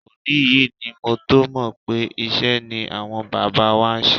Òní yìí ni mo tó mọ̀ pé iṣẹ́ ni àwọn bàbá wa ṣe.